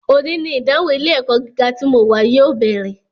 Òní ni ìdánwò ilé - ẹ̀kọ́ gíga tí mo wà yóò bẹ̀rẹ̀